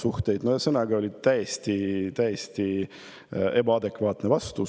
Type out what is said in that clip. Ühesõnaga, see oli täiesti ebaadekvaatne vastus.